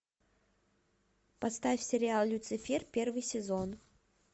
поставь сериал люцифер первый сезон